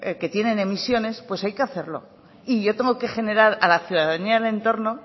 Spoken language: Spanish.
que tiene emisiones pues hay que hacerlo y yo tengo que generar a la ciudadanía del entorno